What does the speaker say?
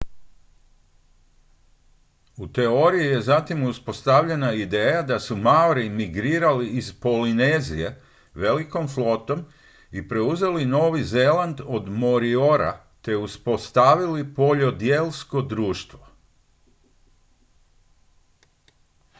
u teoriji je zatim uspostavljena ideja da su maori migrirali iz polinezije velikom flotom i preuzeli novi zeland od moriora te uspostavili poljodjelsko društvo